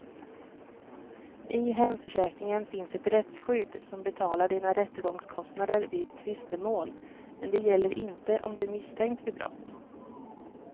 I hemförsäkringen finns ett rättsskydd som betalar dina rättegångskostnader vid tvistemål, men det gäller inte om du är misstänkt för brott.